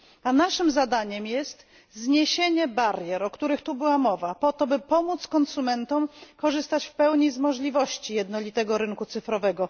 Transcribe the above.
A naszym zadaniem jest zniesienie barier, o których tu była mowa po to, by pomóc konsumentom korzystać w pełni z możliwości jednolitego rynku cyfrowego.